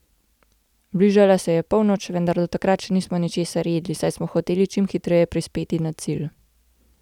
Bližala se je polnoč, vendar do takrat še nismo ničesar jedli, saj smo hoteli čim hitreje prispeti na cilj.